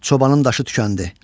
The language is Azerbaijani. Çobanın daşı tükəndi.